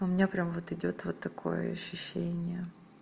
у меня прямо вот идёт вот такое ощущение